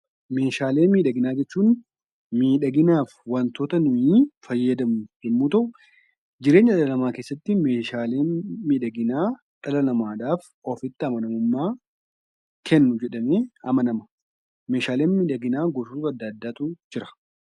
Meeshaalee miidhaginaa jechuun miidhaginaaf wantoota nuyi fayyadamnu yommuu ta'u, jireenya dhala namaa keessatti meeshaaleen miidhaginaa dhala namaadhaaf ofitti amanamummaa kennu jedhamee amanama. Meeshaaleen miidhaginaa gosa adda addaatu jira.